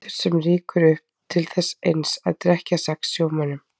Vindur sem rýkur upp til þess eins að drekkja sex sjómönnum.